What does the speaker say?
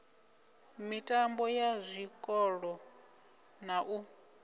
mitambo ya zwikolo na u